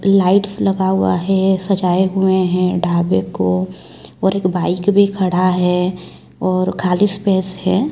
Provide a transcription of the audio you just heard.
Lights लगा हुआ है सजाए हुए हैं ढाबे को और एक बाइक भी खड़ा है और खाली स्पेस है।